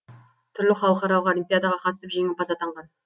түрлі халықаралық олимпиадаға қатысып жеңімпаз атанған